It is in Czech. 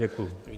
Děkuji.